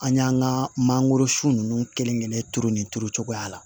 An y'an ka mangoro sun nunnu kelen kelen turu nin turu cogoya la